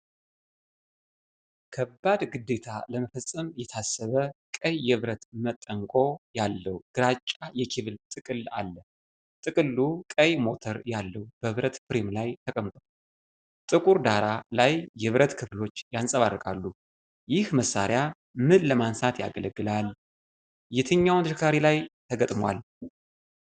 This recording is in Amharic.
ከባድ ግዴታ ለመፈጸም የታሰበ ቀይ የብረት መንጠቆ ያለው ግራጫ የኬብል ጥቅል አለ። ጥቅሉ ቀይ ሞተር ያለው በብረት ፍሬም ላይ ተቀምጧል። ጥቁር ዳራ ላይ የብረት ክፍሎቹ ያንጸባርቃሉ። ይህ መሳሪያ ምን ለማንሳት ያገለግላል? የትኛውን ተሽከርካሪ ላይ ተገጥሟል?